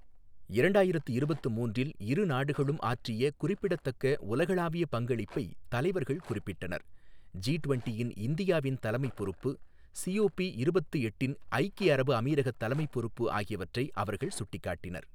இரண்டாயிரத்து இருபத்து மூன்றில் இரு நாடுகளும் ஆற்றிய குறிப்பிடத்தக்க உலகளாவிய பங்களிப்பை தலைவர்கள் குறிப்பிட்டனர், ஜி டுவெண்ட்டியின் இந்தியாவின் தலைமைப் பொறுப்பு, சிஓபி இருபத்து எட்டின் ஐக்கிய அரபு அமீரகத் தலைமைப் பொறுப்பு ஆகியவற்றை அவர்கள் சுட்டிக்காட்டினர்.